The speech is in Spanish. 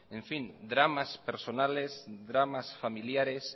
dramas personales dramas familiares